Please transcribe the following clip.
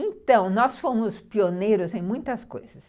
Então, nós fomos pioneiros em muitas coisas.